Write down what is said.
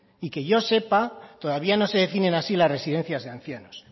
y que yo sepa todavía no se definen así las residencias de ancianos